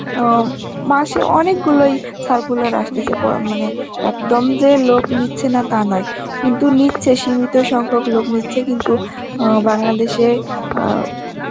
অ্যাঁ মাসে অনেক গুলোই circular আসতেসে পরা~ মানে, একদম যে লোক নিচ্ছে না তা নয় কিন্তু নিচ্ছে, সীমিত সংখ্যক লোক নিচ্ছে কিন্তু অ্যাঁ বাংলাদেশে এ আ